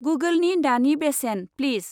गुगोलनि दानि बेसेन, प्लिस।